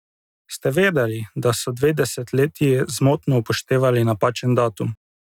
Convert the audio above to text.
Ste vedeli, da so dve desetletji zmotno upoštevali napačen datum?